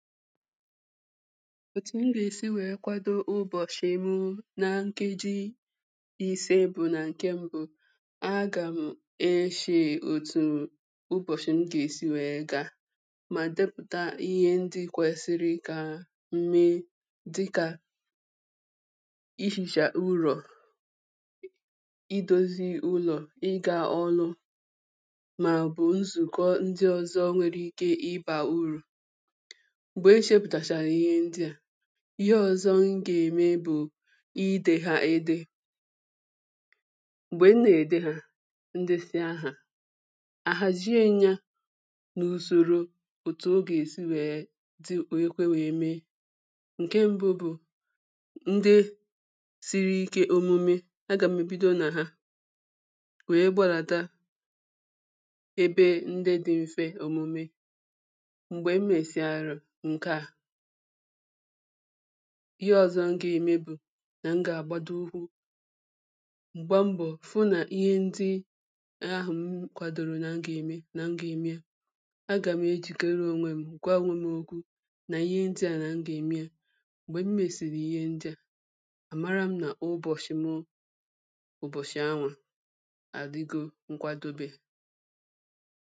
òtù m gà-èsi wèe kwado ụbọ̀sị̀ mụ nȧ nkeji ìse ebȯ nà nke mbụ agà m echèè òtù ụbọ̀sị̀ m gà-èsi wèe ga mà depùta ihe ndi kwèsiri kà m̀me dịkà ighìcha ụrọ̀ i dozi ụlọ̀ ị gȧ ọlụ̇ mà ọ̀ bụ̀ nzùkọ ndi ọzọ nwere ike ịbà urù mgbe m cheputachara ihe ndị a ihe ọzọ m gà-ème bụ̀ idehȧ ede[paues] m̀gbè m nà-ède hȧ ndesị ahà àhàzie m ya n’usoro òtù o gà-èsi wèe dị wèe kwe wèe mee ǹke mbụ bụ̀ ndị siri ike òmume agà m̀ èbido nà ha wèe gbadata ebe ndị dị mfe òmume mgbe m mesịrị nke a[paues] ihe ọ̇zọ̇ m gà-ème bụ̀ nà m gà-àgbado ukwu̇ um m̀gba mbọ̀ fụ nà ihe ndị um ahụ̀ m kwadoro nà m gà-ème nà m gà-ème ya a gà m ejìkere ònwèm gwa onwe m okwu nà ihe ndị a nà m gà-ème m̀gbè m mèsìrì ihe ndị a àmara m nà ụbọ̀chi m ụbọ̀chị̀ anwà adigo nkwadobe